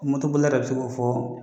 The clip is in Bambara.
bolila dɔ bɛ se k'o fɔ.